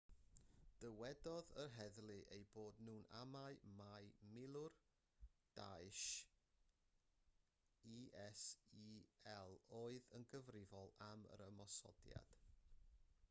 dywedodd yr heddlu eu bod nhw'n amau mai milwr daesh isil oedd yn gyfrifol am yr ymosodiad